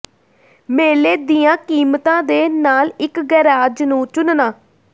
ਮੇਲੇ ਦੀਆਂ ਕੀਮਤਾਂ ਦੇ ਨਾਲ ਇੱਕ ਗੈਰਾਜ ਨੂੰ ਚੁਣਨਾ